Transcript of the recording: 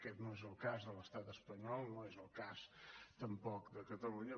aquest no és el cas de l’estat espanyol no és el cas tampoc de catalunya